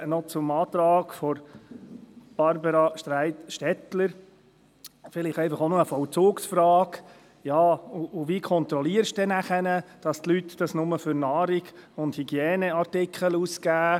Zum Antrag von Barbara Streit vielleicht noch eine Vollzugsfrage: Wie kontrollieren Sie nachher, dass die Leute dies nur für Nahrung und Hygieneartikel ausgeben?